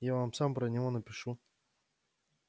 я вам сам про него напишу